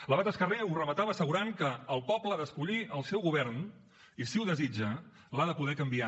l’abat escarré ho rematava assegurant que el poble ha d’escollir el seu govern i si ho desitja l’ha de poder canviar